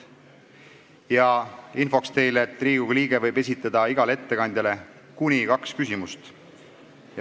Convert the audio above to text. Infoks teile, et Riigikogu liige võib igale ettekandjale esitada kuni kaks küsimust.